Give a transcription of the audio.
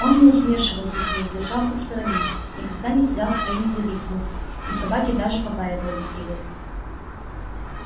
он не смешивался с ней держался в стороне никогда не терял своей независимости и собаки даже побаивались его